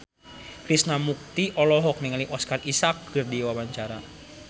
Krishna Mukti olohok ningali Oscar Isaac keur diwawancara